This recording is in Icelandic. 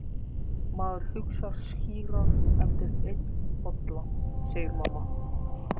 Maður hugsar skýrar eftir einn bolla, segir mamma.